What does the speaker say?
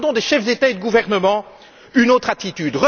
Nous attendons des chefs d'État ou de gouvernement une autre attitude.